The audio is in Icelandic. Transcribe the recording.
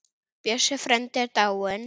Bjössi frændi er dáinn.